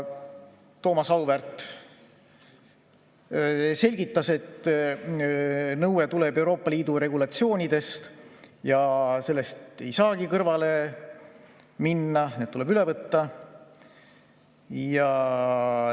Thomas Auväärt selgitas, et nõue tuleneb Euroopa Liidu regulatsioonidest ja sellest ei saagi kõrvale jääda, need regulatsioonid tuleb üle võtta.